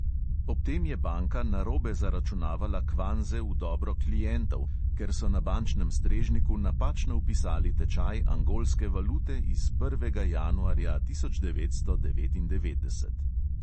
Ob tem je banka narobe zaračunavala kvanze v dobro klientov, ker so na bančnem strežniku napačno vpisali tečaj angolske valute iz prvega januarja tisoč devetsto devetindevetdeset.